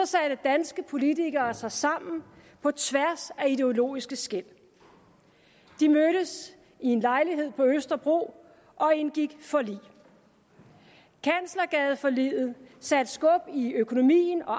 satte danske politikere sig sammen på tværs af ideologiske skel de mødtes i en lejlighed på østerbro og indgik forlig kanslergadeforliget satte skub i økonomien og